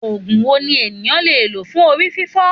Òògùn wo ni ènìyàn lè lò fún orí fífọ́?